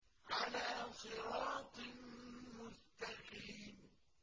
عَلَىٰ صِرَاطٍ مُّسْتَقِيمٍ